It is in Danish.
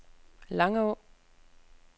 Langå